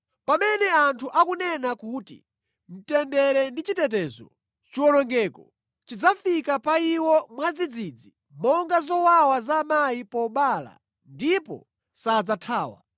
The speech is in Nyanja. Pamene anthu akunena kuti, “Mtendere ndi chitetezo,” chiwonongeko chidzafika pa iwo mwadzidzidzi, monga zowawa za amayi pobereka, ndipo sadzathawa.